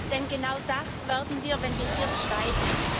Denn genau das werden wir, wenn wir hier schweigen.